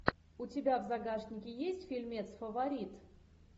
у тебя в загашнике есть фильмец фаворит